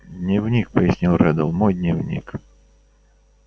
дневник пояснил реддл мой дневник